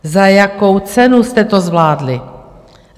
Za jakou cenu jste to zvládli?